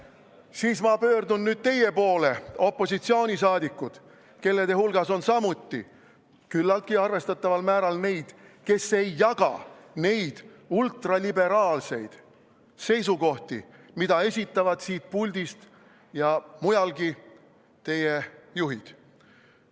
... siis ma pöördun nüüd teie poole, opositsiooni liikmed, kelle hulgas on samuti küllaltki arvestataval määral neid, kes ei jaga neid ultraliberaalseid seisukohti, mida esitavad siin puldis ja mujalgi teie juhid.